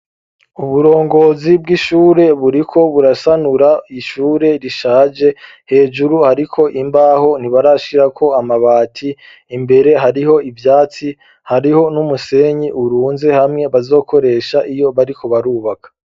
Uburongozi bw'ishure buriko burasanura ishure rishaje, hejuru hariko imbaho ntibarashirako amabati, imbere hariho ivyatsi hariho n'umusenyi urunze hamwe bazokoresha iyo bariko barubaka.